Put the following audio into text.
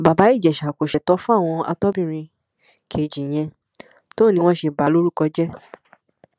bàbá ìjẹsà kò ṣètò fóun àtobìnrin kejì yẹn tó ní wọn ṣe bà á lórúkọ jẹ